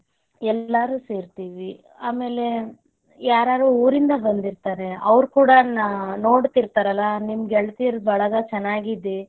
ಎಲ್ಲಾರು ಸೇರತೇವಿ, ಆಮೇಲೆ ಯಾರಾರು ಊರಿಂದ ಬಂದಿರ್ತಾರೆ ಅವರ್ ಕೂಡಾ ನೋಡ್ತಿರ್ತಾರೆ ಅಲ್ಲಾ ನಿಮ್ ಗೆಳತಿಯರ ಬಳಗ ಚನ್ನಾಗಿದೇ.